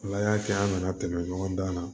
Ala y'a kɛ an nana tɛmɛ ɲɔgɔn dan na